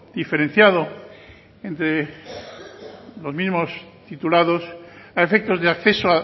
diferenciado entre los mismos titulados a efectos de acceso